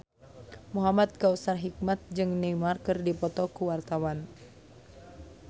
Muhamad Kautsar Hikmat jeung Neymar keur dipoto ku wartawan